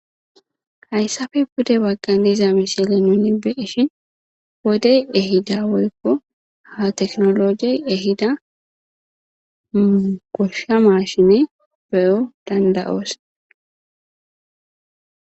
hayssafe bude bagqan diza misile nuni beeshin bodey ehida woykko ha teknologiey ehida goshsha mashine beyo dandayoos